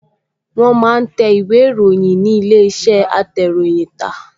Wọ́n máa ń tẹ ìwé-ìròyìn ní ilé-iṣẹ́ atẹ̀ròyìntà